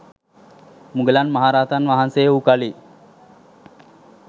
මුගලන් මහ රහතන් වහන්සේ වූ කලී